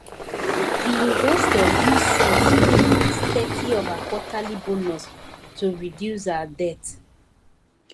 d investor use sense take put thirty of her quarterly bonus to reduce her debt